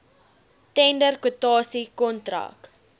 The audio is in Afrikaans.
tender kwotasie kontrak